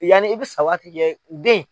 Yanni i bɛ sa waati cɛ den